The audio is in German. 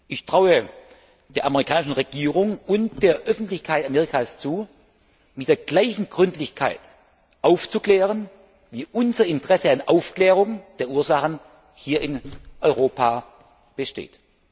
Ich traue der amerikanischen Regierung und der Öffentlichkeit Amerikas zu, mit der gleichen Gründlichkeit aufzuklären, wie unser Interesse an Aufklärung der Ursachen hier in Europa besteht.